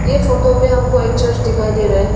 ये फोटो में हमको एक चर्च दिखाई दे रहा है।